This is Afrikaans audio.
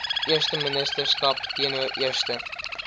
eersteministerskap teenoor eerste